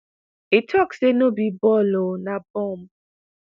"e tok say 'no be ball o – na bomb!